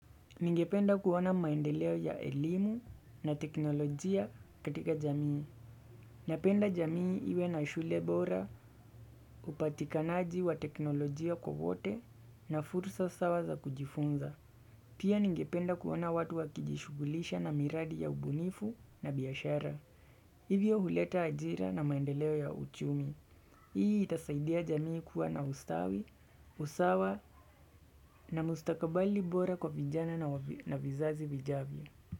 Ningependa kuona maendeleo ya elimu na teknolojia katika jamii. Napenda jamii iwe na shule bora upatikanaji wa teknolojia kwa wote na fursa sawa za kujifunza. Pia ningependa kuona watu wakijishugulisha na miradi ya ubunifu na biashara. Hivyo huleta ajira na maendeleo ya uchumi. Hii itasaidia jamii kuwa na ustawi, usawa na mustakabali bora kwa vijana na vizazi vijavyo.